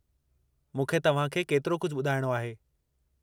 मूंखे तव्हांखे केतिरो कुझु ॿुधायणो आहे।